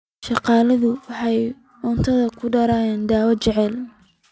Shaqaaluhu waxa uu cuntada ku daray dawo jacayl